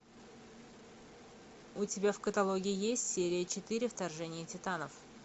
у тебя в каталоге есть серия четыре вторжение титанов